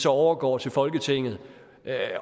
overgå til folketinget